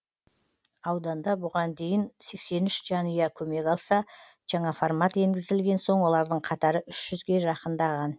ауданда бұған дейін сексен үш жанұя көмек алса жаңа формат енгізілген соң олардың қатары үш жүзге жақындаған